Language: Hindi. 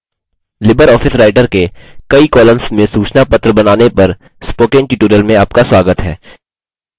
libreoffice writer के कई columns में सूचनापत्र बनाने पर spoken tutorial में आपका स्वागत है